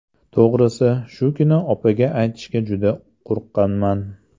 To‘g‘risi, shu kuni opaga aytishga juda qo‘rqqanman.